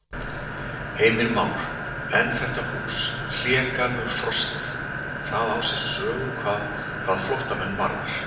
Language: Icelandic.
Heimir Már: En þetta hús, Hlégarður Frosti, það á sér sögu hvað flóttamenn varðar?